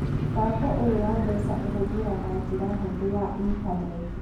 Mũbango ũyũ wa mbeca ũhũthagĩra njĩra hũthũ ya intaneti